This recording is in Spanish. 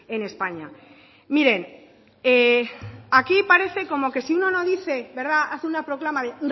en españa miren aquí parece como que si uno no dice hace una proclama de